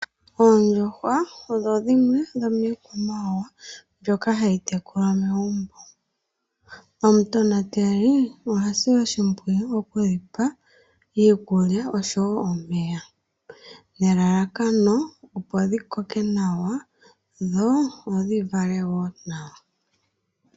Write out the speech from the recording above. Oondjuhwa odho dhimwe dhomiikwamawawa mbyoka hayi tekulwa megumbo. Omutonateli ohasi oshimpwiyu oku yipa iikulya osho wo omeya, nelalakano opo dhi koke nawa dho dhi vale wo nawa.